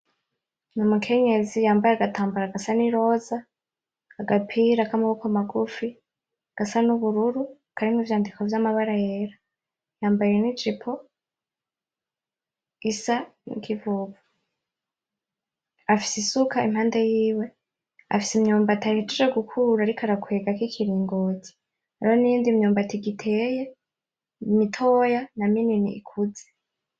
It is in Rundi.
N'umukenyezi yambaye agatambara gasa n'iroza, agapira k'amaboko magufi gasa n'ubururu karimwo ivyandiko vy'amabara yera, yambaye n'ijipo isa n'ikivovo, afise isuka impande yiwe, afise imyumbati ahejeje gukura ariko arakwegako ikiringoti, hariho niyindi myumbati igiteye mitoya na minini ikuze.